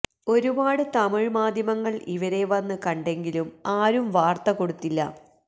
ഒരുപാട് തമിഴ് മാധ്യമങ്ങള് ഇവരെ വന്ന് കണ്ടെങ്കിലും ആരും വാർത്ത കൊടുത്തില്ല